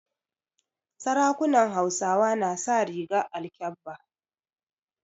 Sarakunan Hausawa na sa rigar alkabba.